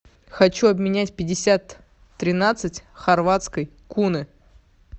хочу обменять пятьдесят тринадцать хорватской куны